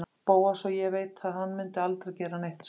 Bóas og ég veit að hann mundi aldrei gera neitt svona.